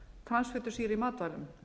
transfitusýru í matvælum